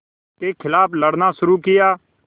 के ख़िलाफ़ लड़ना शुरू किया